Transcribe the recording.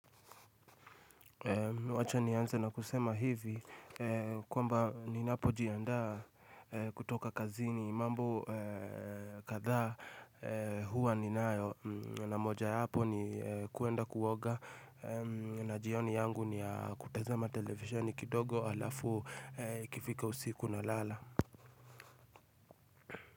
Wacha nianze na kusema hivi kwamba ninapo jianda kutoka kazini mambo kadha huwa ninayo na moja yapo ni kuenda kuoga na jioni yangu ni ya kutazama televisheni kidogo halafu kifika usiku na lala.